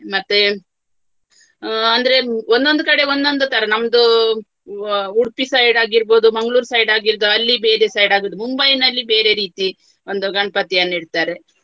ಮತ್ತೆ ಅಹ್ ಅಂದ್ರೆ ಒಂದೊಂದು ಕಡೆ ಒಂದೊಂದು ತರ ನಮ್ದು ಉಡುಪಿ side ಆಗಿರ್ಬಹುದು ಮಂಗಳೂರು side ಆಗಿದ್ದು ಅಲ್ಲಿ ಬೇರೆ side ಆಗುವುದು ಮುಂಬೈನಲ್ಲಿ ಬೇರೆ ರೀತಿ ಒಂದು ಗಣಪತಿಯನ್ನು ಇಡ್ತಾರೆ.